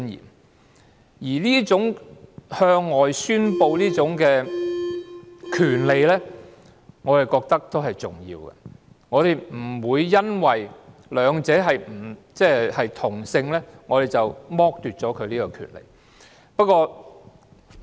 我覺得這種向外宣示的權利也是重要的，我們不會因為兩者是同性，便剝奪了他們這種權利。